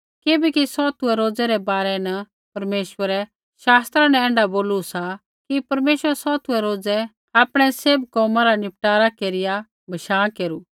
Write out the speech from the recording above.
किबैकि सौतुऐ रोज़ै रै बारै न परमेश्वरै शास्त्रा न ऐण्ढा बोलू सा कि परमेश्वरै सौतुऐ रोजै आपणै सैभ कोमा रा निपटारा केरिया बशाँ केरू